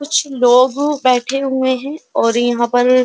कुछ लोग बैठे हुए है और यहां पर --